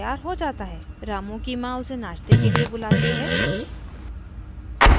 वो कुल्ला करता है और नहाने दौड़ता है और तैयार हो bath है